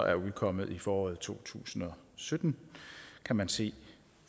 er udkommet i foråret to tusind og sytten kan man se